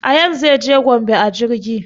Ayaan zai je gombe a jirgi